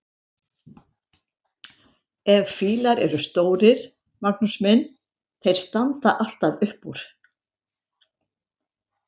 En fílar eru stórir, Magnús minn, þeir standa alltaf upp úr!